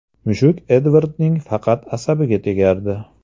Mushuk Edvardning faqat asabiga tegardi.